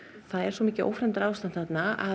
það er svo mikið ófremdarástand þarna að